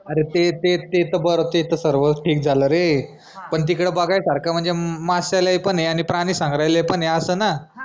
अरे ते ते ते त बर ते त सर्वच ठीक झालं रे पन तिकडं बघायसारखं म्हनजे माश्यालय पन आय आनि प्रानी संग्रहालय पन आय आस ना